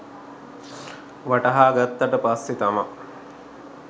වටහා ගත්තට පස්සේ තමයි